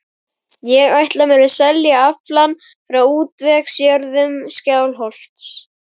Ég ætla mér að selja aflann frá útvegsjörðum Skálholts.